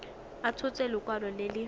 a tshotse lekwalo le le